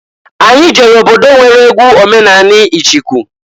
Anyị jere obodo nwere egwu omenani ịchịkụ.